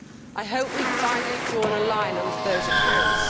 I hope we have finally drawn a line under those accounts.